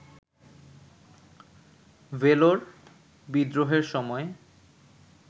ভেলোর বিদ্রোহের সময়